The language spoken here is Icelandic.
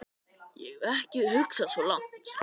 Ég hef ekki hugsað svo langt.